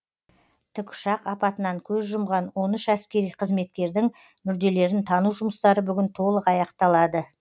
тікұшақ апатынан көз жұмған он үш әскери қызметкердің мүрделерін тану жұмыстары бүгін толық аяқталады